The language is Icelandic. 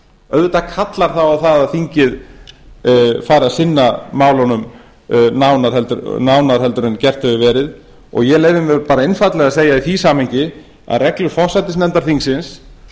auðvitað kallar það á að þingið fari að sinna málunum nánar en gert hefur verið og ég leyfi mér bara einfaldlega að segja í því samhengi að reglur forsætisnefndar þingsins